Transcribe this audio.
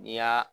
N'i y'a